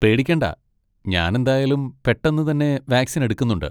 പേടിക്കേണ്ട, ഞാൻ എന്തായാലും പെട്ടെന്ന് തന്നെ വാക്സിൻ എടുക്കുന്നുണ്ട്.